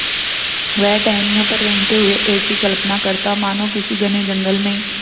वह टहनियों पर रेंगते हुए ऐसी कल्पना करता मानो किसी घने जंगल में